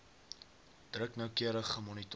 druk noukeurig gemonitor